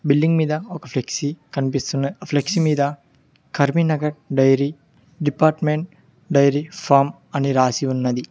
Billing మీద ఒక flexi కనిపిస్తున్న ఫ్లెక్సీ మీద Karimnagar dairy department dairy farm అని రాసి ఉన్నది.